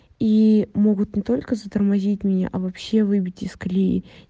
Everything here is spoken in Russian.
и могут не только затормозить меня а вообще выбить из колеи